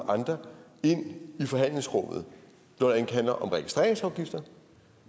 andre ind i forhandlingsrummet når det handler om registreringsafgifter